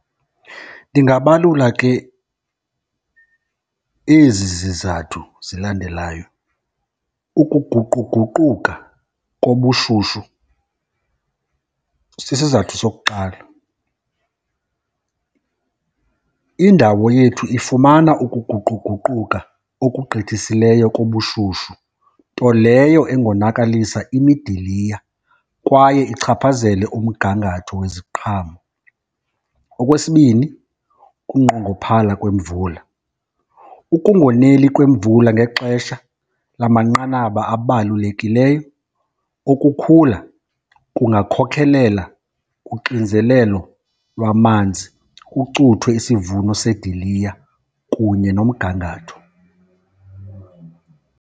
Ndingabalula ke ezi zizathu zilandelayo, ukuguquguquka kobushushu sisizathu sokuqala. Indawo yethu ifumana ukuguquguquka okugqithisileyo kobushushu nto leyo engonakalisa imidiliya kwaye ichaphazele umgangatho weziqhamo. Okwesibini, kunqongophala kwemvula. Ukungoneli kwemvula ngexesha lamanqanaba abalulekileyo okukhula kungakhokhelela kuxinzelelo lwamanzi, kucuthwe isivuno sediliya kunye nomgangatho.